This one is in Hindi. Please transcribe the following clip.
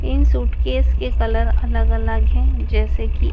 इन सूटकेस के कलर अलग अलग हैं जैसे कि--